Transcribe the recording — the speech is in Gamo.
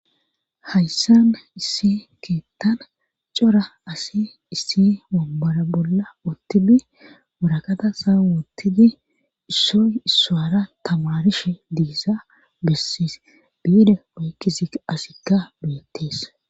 hayssan issi keettan cora asi issi wambora bolla ottibi warakata saawoottidi issoy issaara tamarishe diysa bessis biide woykkida asikka beettees